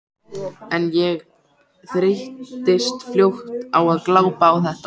En ég þreyttist fljótt á að glápa á þetta.